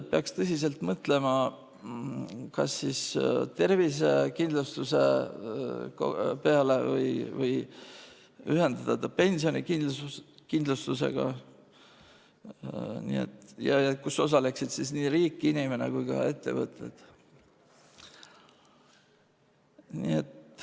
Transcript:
Peaks tõsiselt mõtlema kas siis tervisekindlustuse peale või ühendada ta pensionikindlustusega, kus osaleksid nii riik, inimene kui ka ettevõtted.